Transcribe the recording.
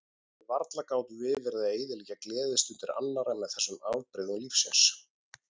Og varla gátum við verið að eyðileggja gleðistundir annarra með þessum afbrigðum lífsins.